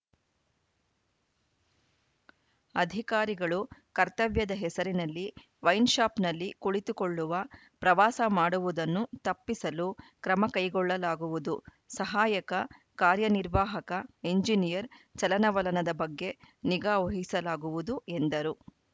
ಅಧಿಕಾರಿಗಳು ಕರ್ತವ್ಯದ ಹೆಸರಿನಲ್ಲಿ ವೈನ್‌ಶಾಪ್‌ನಲ್ಲಿ ಕುಳಿತುಕೊಳ್ಳುವ ಪ್ರವಾಸ ಮಾಡುವುದನ್ನು ತಪ್ಪಿಸಲು ಕ್ರಮ ಕೈಗೊಳ್ಳಲಾಗುವುದು ಸಹಾಯಕ ಕಾರ್ಯನಿರ್ವಾಹಕ ಎಂಜಿನಿಯರ್‌ ಚಲನವಲನದ ಬಗ್ಗೆ ನಿಗಾ ವಹಿಸಲಾಗುವುದು ಎಂದರು